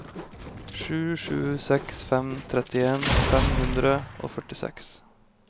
sju sju seks fem trettien fem hundre og førtiseks